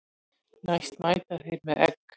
Næst mæta þeir með egg.